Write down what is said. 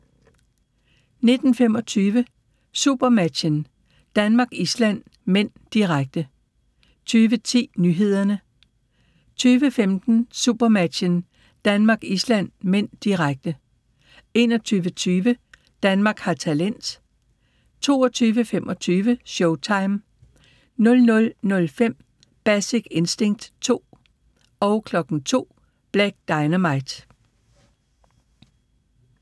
19:25: SuperMatchen: Danmark-Island (m), direkte 20:10: Nyhederne 20:15: SuperMatchen: Danmark-Island (m), direkte 21:20: Danmark har talent 22:25: Showtime 00:05: Basic Instinct 2 02:00: Black Dynamite